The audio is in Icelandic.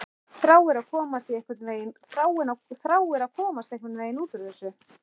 Þráir að komast einhvern veginn út úr þessu.